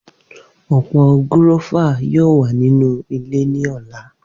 Opo gúrọ́fà yoo wa ninu ile ni ọla.